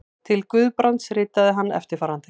Til Guðbrands ritaði hann eftirfarandi